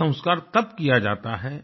ये संस्कार तब किया जाता है